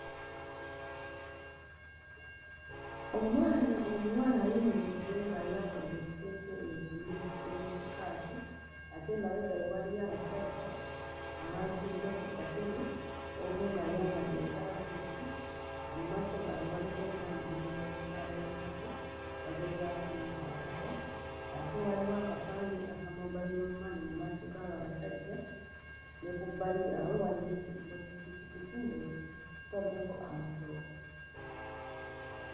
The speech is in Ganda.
Omwana omuwala ayimiridde ng'ayambadde ekiteeteeyi ekimyufu ne sikaati ate emabega we waliyo abasajja abatudde ku katebe omu ng'ayambadde entalabuusi mu maaso gaabwe waliwo omwana omulenzi abayitako bagezaako ommukwatako ate waliwo akapande aka Mobile Money mu maaso g'abo abasajja ne ku bbali yaabwe waliyo emmo ppikippiki ng'etu ttaddeko amatooke.